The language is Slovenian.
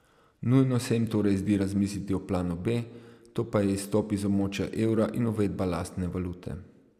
Nujno se jim torej zdi razmisliti o planu B, to pa je izstop iz območja evra in uvedba lastne valute.